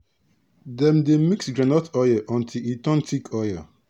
dem dey mix groundnut oil until e turn thick oil